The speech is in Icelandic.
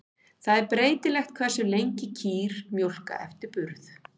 Það er breytilegt hversu lengi kýr mjólka eftir burð.